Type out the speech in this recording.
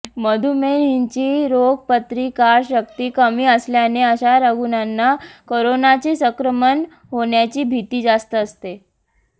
मधुमेहींची रोगप्रतिकारशक्ती कमी असल्याने अशा रुग्णांना कोरोनाचे संक्रमण होण्याची भीती जास्त असते